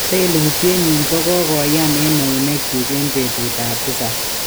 lelutient nyi ko kogayn en neuneknyu en petut ap tisap.